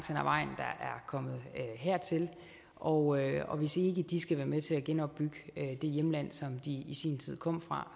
kommet hertil og og hvis ikke de skal være med til at genopbygge det hjemland som de i sin tid kom fra